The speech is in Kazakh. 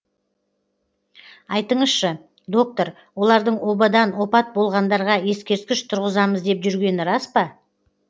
айтыңызшы доктор олардың обадан опат болғандарға ескерткіш тұрғызамыз деп жүргені рас па